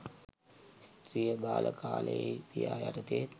ස්ත්‍රිය බාල කාලයෙහි පියා යටතේත්